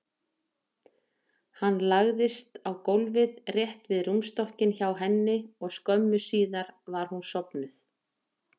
Hann lagðist á gólfið rétt við rúmstokkinn hjá henni og skömmu síðar var hún sofnuð.